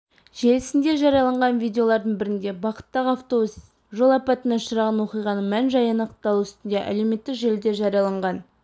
желісінде жарияланған видеолардың бірінде бағыттағы автобус жол апатына ұшыраған оқиғаның мән-жайы анықталу үстінде әлеуметтік желіде жарияланған